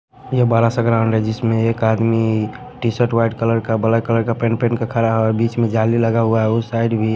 ये बारा सा ग्राउंड हैजिसमें एक आदमी टी-शर्ट वाइट कलर का ब्लैक कलर का पेंट पेन का खड़ा है और बीच में जाली लगा हुआ है उस साइड भी--